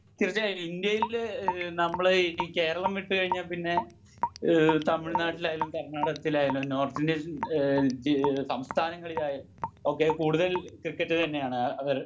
തീർച്ചയായും ഇന്ത്യയിൽ നമ്മൾ ഈ കേരളം വിട്ട് കഴിഞ്ഞാ പിന്നെ ഈഹ് തമിഴ് നാട്ടിൽ ആയാലും കർണാടകത്തിലായാലും നോർത്ത് ഇന്ത്യൻ ഈഹ് സംസ്ഥാനങ്ങളിൽ ആയാലും ഒക്കെ കൂടുതൽ ക്രിക്കറ്റിന് തന്നെയാണ് അവർ